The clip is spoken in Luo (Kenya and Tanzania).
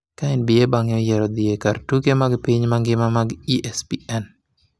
ka NBA bang’e oyiero dhi e kar tuke mag piny mangima mag ESPN